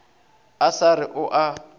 a sa re o a